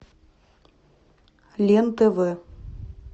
лен тв